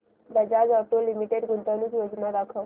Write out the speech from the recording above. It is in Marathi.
बजाज ऑटो लिमिटेड गुंतवणूक योजना दाखव